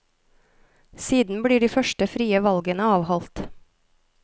Siden blir de første frie valgene avholdt.